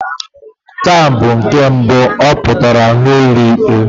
Taa bụ nke mbụ ọ pụtara n'ụlọ ikpe.